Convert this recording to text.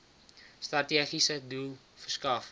strategiese doel verskaf